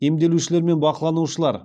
емделушілер мен бақыланушылар